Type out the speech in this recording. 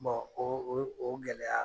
o o gɛlɛya